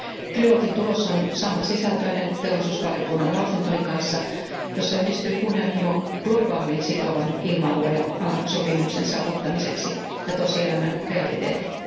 Trilogin tulos on samansisältöinen teollisuusvaliokunnan lausuntoni kanssa, jossa yhdistyvät kunnianhimo globaalin sitovan ilmailualan sopimuksen saavuttamiseksi ja tosielämän realiteetit.